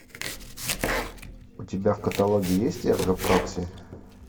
у тебя в каталоге есть эрго прокси